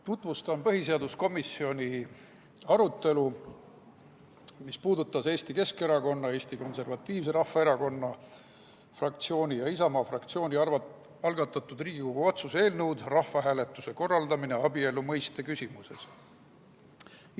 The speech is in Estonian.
Tutvustan põhiseaduskomisjoni arutelu, mis puudutas Eesti Keskerakonna fraktsiooni, Eesti Konservatiivse Rahvaerakonna fraktsiooni ja Isamaa fraktsiooni algatatud Riigikogu otsuse "Rahvahääletuse korraldamine abielu mõiste küsimuses" eelnõu.